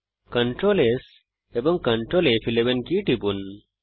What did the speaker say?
Ctrl S এবং Ctrl ফ11 key টিপুন